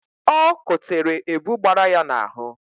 Ọ kotere ebu gbara ya n'ahụ